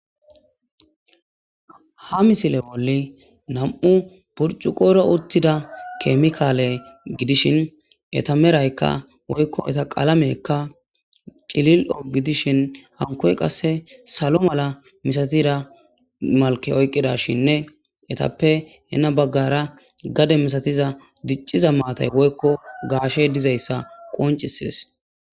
ha misile oli nam7u purcu qoro uttida keemikaale gidishin eta meraykka woykko eta qalamekka cilil7o gidishin hankoy qasse salo mala misatira malke oyqqida shinne etappe heena baggara gade misatiza dicciza maatay woykko gaashe dizayssa qoncisies